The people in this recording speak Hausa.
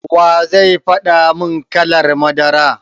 Wa zai faɗa mun kalar madara?